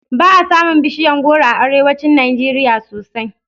Ba a samun bishiyar goro a arewacin Najeriya sosai